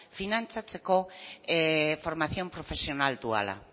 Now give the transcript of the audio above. finantzatzeko formación profesional duala